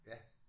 Ja